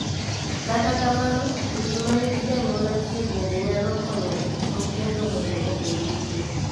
Kata kamano, udi ma nigi janyuol achiel bende nyalo konyo nyithindo mondo obed gi chir,